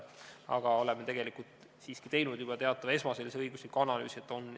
Aga oleme siiski teinud juba teatava esmase õigusliku analüüsi.